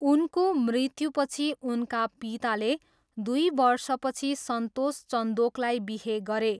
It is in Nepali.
उनको मृत्युपछि उनका पिताले दुई वर्षपछि सन्तोष चन्दोकलाई बिहे गरे।